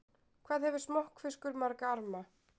Hvað hefur smokkfiskur marga arma?